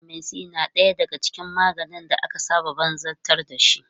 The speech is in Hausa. Vitamin C na ɗaya daga cikin maganin da aka saba banzabtar dashi.